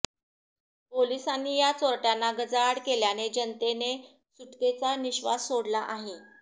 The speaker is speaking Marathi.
पोलिसांनी या चोरट्याना गजाआड केल्याने जनतेने सुटकेचा निश्वास सोडला आहे